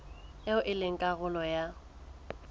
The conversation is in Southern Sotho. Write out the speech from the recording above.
eo e leng karolo ya